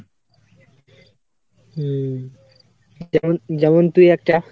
হুম, যেমন~ যেমন তুই একটা,